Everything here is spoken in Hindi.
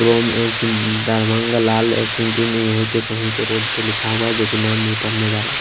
क्रोम एम्स दरभंग लाल एक यहीं पे कहीं पे रोड पे लिखा हुआ है जो कि नाम नहीं पढ़ने जा रहा है।